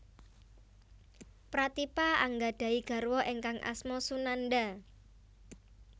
Pratipa anggadhahi garwa ingkang asma Sunanda